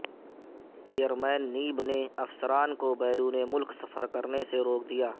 chairman NAB نے افسران کو بیرون ملک سفر سے روک دیا